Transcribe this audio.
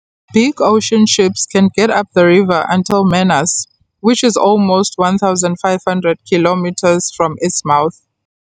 Big ocean ships can get up the river until Manaus, which is almost 1500 kilometers from its mouth.